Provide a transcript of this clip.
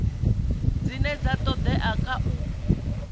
dzine dza todea kha u